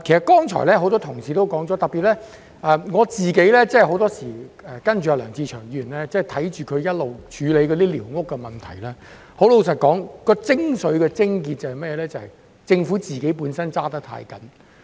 剛才多位同事皆提及，而特別是據我自己跟梁志祥議員一直處理寮屋問題的觀察所得，問題的精髓或癥結坦白說是政府本身過分嚴謹。